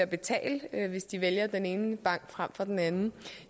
betale hvis de vælger den ene bank frem for den anden